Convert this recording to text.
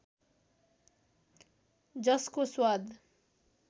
जसको स्वाद